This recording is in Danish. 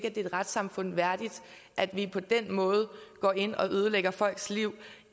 er et retssamfund værdigt at vi på den måde går ind og ødelægger folks liv